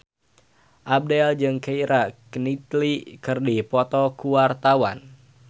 Abdel jeung Keira Knightley keur dipoto ku wartawan